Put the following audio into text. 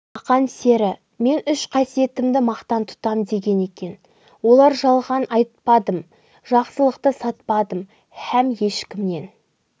ақан сері мен үш қасиетімді мақтан тұтам деген екен олар жалған айтпадым жақсылықты сатпадым хәм ешкімнен